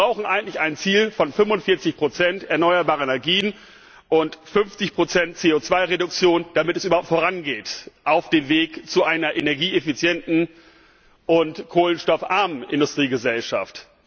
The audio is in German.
Wir brauchen eigentlich ein Ziel von 45 erneuerbare Energien und 50 CO 2 Reduktion, damit es überhaupt vorangeht auf dem Weg zu einer energieeffizienten und kohlenstoffarmen Industriegesellschaft.